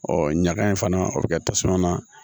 ɲaga in fana o bɛ kɛ tasuma na